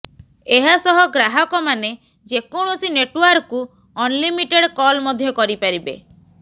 ଏହାସହ ଗ୍ରାହକମାନେ ଯେ କୌଣସି ନେଟୱାର୍କକୁ ଅନଲିମିଟେଡ୍ କଲ୍ ମଧ୍ୟ କରିପାରିବେ